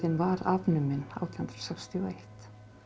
var afnumin átján hundruð sextíu og eitt